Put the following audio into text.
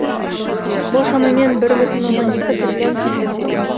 бұл шамамен бір бүтін оннан екі триллион теңгені құрайды